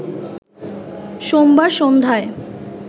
সোমবার সন্ধ্যায়